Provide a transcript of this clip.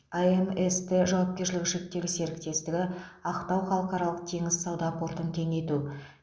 амст жауапкершілігі шектеулі серіктестігі ақтау халықаралық теңіз сауда портын кеңейту